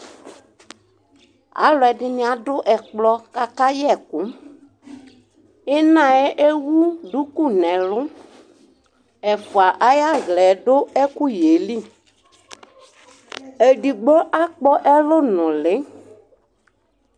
aloɛdini ado ɛkplɔ ko aka yɛ ɛko inaɛ ewu duku n'elu ɛfua ay'alaɛ do ɛkoyɛ li edigbo akpɔ ɛlu nuli